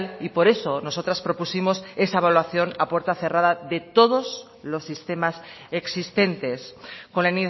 y por eso nosotras propusimos esa evaluación a puerta cerrada de todos los sistemas existentes con la